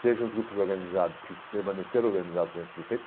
Sejam os grupos organizados que permaneceram organizados dentro do pê